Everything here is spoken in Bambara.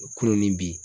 Kulo ni bi